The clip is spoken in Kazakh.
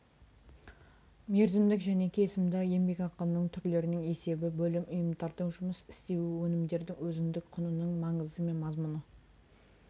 мерзімдік және кесімді еңбекақының түрлерінің есебі бөлім ұйымдардың жұмыс істеуі өнімдердің өзіндік құнының маңызы мен мазмұны